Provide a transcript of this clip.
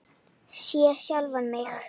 Sé sjálfan mig.